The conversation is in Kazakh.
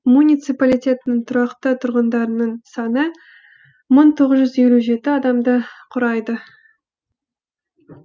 муниципалитеттің тұрақты тұрғындарының саны мың тоғыз жүз елу жеті адамды құрайды